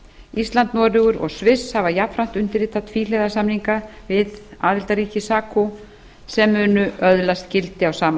ísland noregur og sviss hafa jafnframt undirritað tvíhliða samninga við aðildarríki sacu sem munu öðlast gildi á sama